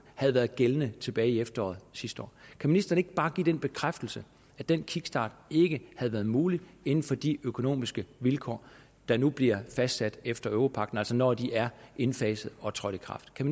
havde været gældende tilbage i efteråret sidste år kan ministeren ikke bare give den bekræftelse at den kickstart ikke havde været mulig inden for de økonomiske vilkår der nu bliver fastsat efter europagten altså når de er indfaset og trådt i kraft kan